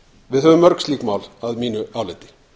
við höfum mörg slík mál að mínu áliti